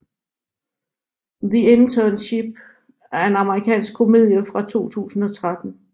The Internship er en amerikansk komedie fra 2013